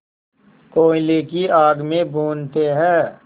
कोयले की आग में भूनते हैं